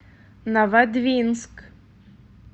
новодвинск